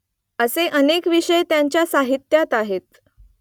असे अनेक विषय त्यांच्या साहित्यात आहेत